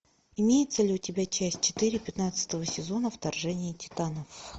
имеется ли у тебя часть четыре пятнадцатого сезона вторжение титанов